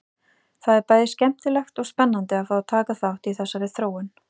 Það er bæði skemmtilegt og spennandi að fá að taka þátt í þessari þróun!